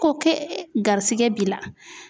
Ko ke garisigɛ b'i la.